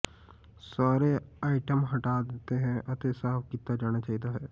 ਸਾਰੇ ਆਈਟਮ ਹਟਾ ਦਿੱਤਾ ਹੈ ਅਤੇ ਸਾਫ਼ ਕੀਤਾ ਜਾਣਾ ਚਾਹੀਦਾ ਹੈ